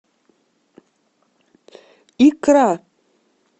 икра